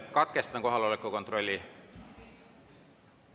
Katkestan kohaloleku kontrolli.